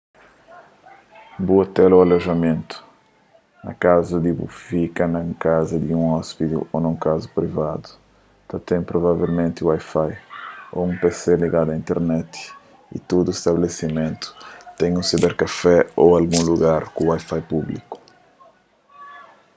bu ôtel ô alojamentu na kazu di bu fika na un kaza di ôspidi ô nun kaza privadu ta ten provavelmenti wifi ô un pc ligadu a internet y tudu stabelesimentu ten un siberkafé ô algun lugar ku wifi públiku